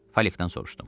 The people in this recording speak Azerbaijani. Falikdən soruşdum.